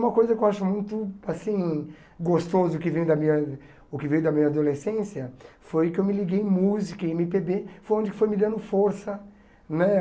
Uma coisa que eu acho muito assim gostoso, que veio da minha o que veio da minha adolescência, foi que eu me liguei música e eme pê bê, foi onde que foi me dando força né.